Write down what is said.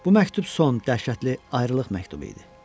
Bu məktub son dəhşətli ayrılıq məktubu idi.